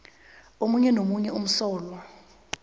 omunye nomunye umsolwa